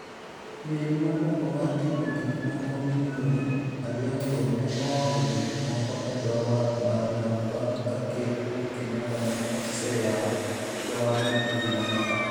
Meli mokwongo mar ting'o gik moko miluongo ni Alianco ne oolo gik moko e dho wath mar Lamu bang' ka Ker Uhuru Kenyatta ne oseyawo dho wathno e juma mokalo.